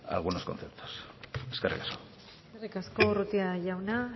algunos conceptos eskerrik asko eskerrik asko urrutia jauna